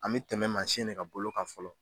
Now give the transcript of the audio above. An me tɛmɛ mansin de ka bolo kan fɔlɔ.